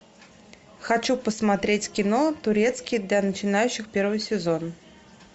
хочу посмотреть кино турецкий для начинающих первый сезон